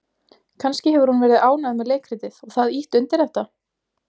Kannski hefur hún verið ánægð með leikritið og það ýtt undir þetta?